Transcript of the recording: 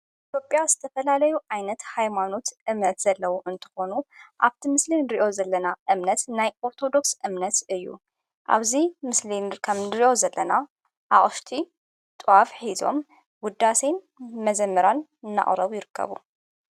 ኢቶጴያ ዝተፈላለዩ ኣይነት ኃይማኑት እምነት ዘለዉ እንተኾኑ ኣብቲ ምስልን ድርእዮ ዘለና እምነት ናይ ኦርቶዶክስ እምነት እዩ ኣብዙይ ምስልን ከም ድርእዮ ዘለና ኣወሽቲ ጥዋፍ ኂዞም ውዳሰይን መዘመራን እናቝረቡ ይርከቡ።